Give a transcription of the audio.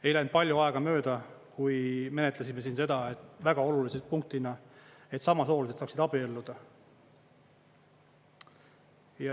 Ei läinud palju aega mööda, kui menetlesime siin väga olulise punktina seda, et samasoolised tahaksid abielluda.